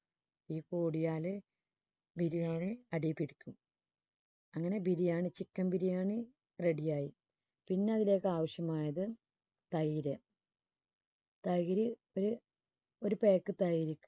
തീ കൂടിയാല് biriyani അടിയിൽ പിടിക്കും. അങ്ങനെ biriyani chicken biriyani ready യായി പിന്നെ ഇതിലേക്ക് ആവശ്യമായത് തെെര് തെെര് ഒരു ഒരു pack തെെര്